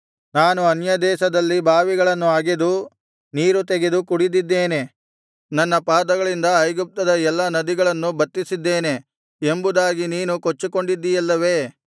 ನಾನು ಅನ್ಯದೇಶದಲ್ಲಿ ಬಾವಿಗಳನ್ನು ಅಗೆದು ನೀರು ತೆಗೆದು ಕುಡಿದಿದ್ದೇನೆ ನನ್ನ ಪಾದಗಳಿಂದ ಐಗುಪ್ತದ ಎಲ್ಲಾ ನದಿಗಳನ್ನು ಬತ್ತಿಸಿದ್ದೇನೆ ಎಂಬುದಾಗಿ ನೀನು ಕೊಚ್ಚಿಕೊಂಡಿದ್ದೀಯಲ್ಲವೇ